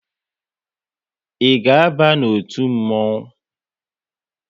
Ị ga aba n'otu mmonwu?